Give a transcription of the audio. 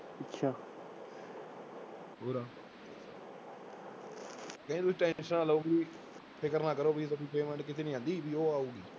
ਕਹਿੰਦੀ ਤੁਸੀਂ tension ਨਾ ਲਓ ਵੀ ਫ਼ਿਕਰ ਨਾ ਕਰੋ ਵੀ ਤੁਹਾਡੀ payment ਕਿਤੇ ਨੀ ਜਾਂਦੀ ਵੀ ਉਹ ਆਊਗੀ।